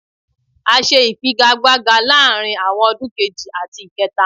A ṣe ifigagbaga láàárín àwọn ọdún kejì àti kẹta.